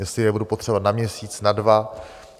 Jestli je budu potřebovat na měsíc, na dva.